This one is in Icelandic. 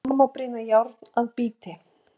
Svo má brýna járn að bíti.